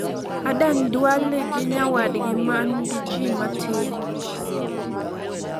Adan Duale gi nyawadgi ma nigi ji matin